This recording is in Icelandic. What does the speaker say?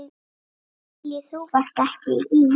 Lillý: Þú varst ekki í?